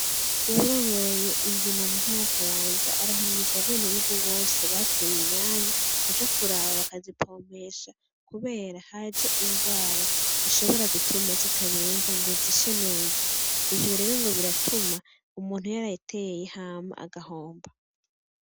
Uwurongoye indimo mu ntara ya Kayanza arahimiriza abenegihugu bose bateye inyanya kuja kuraba bakazipompesha kubera haje ingwara ishobora gutuma zitabenja ngo zishe neza, ivyo rero ngo biratuma umuntu yarayiteye hama agahomba.